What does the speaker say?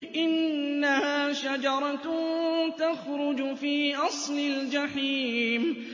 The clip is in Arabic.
إِنَّهَا شَجَرَةٌ تَخْرُجُ فِي أَصْلِ الْجَحِيمِ